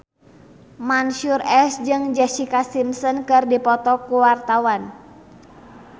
Mansyur S jeung Jessica Simpson keur dipoto ku wartawan